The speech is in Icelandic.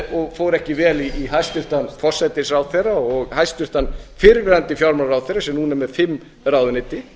og fór ekki vel í hæstvirtur forsætisráðherra og hæstvirtur fyrrverandi fjármálaráðherra sem núna er með fimm ráðuneyti